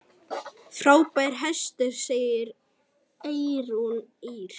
Frábær hestur, segir Eyrún Ýr.